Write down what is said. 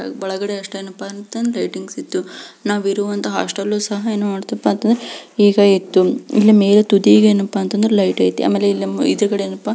ಒಳಗಡೆ ಅಸ್ತೇನಪ್ಪ ಅಂತ ಅಂದ್ರೆ ಲೈಟಿಂಗ್ಸ್ ಇತ್ತು ನಾವ್ ಇರುವಂಥ ಹಾಸ್ಟೆಲ್ ಸಹ ಏನಪ್ಪಾ ಅಂದ್ರೆ ಈಗ ಇತ್ತು ಇಲ್ಲಿ ಮ್ಯಾಗ ತುದಿಗ ಏನಪ್ಪಾ ಅಂದ್ರೆ ಲೈಟ್ ಐತಿ ಆಮ್ಯಾಲೆ ಇಲ್ಲಿ ಎದುರುಗಡೆ--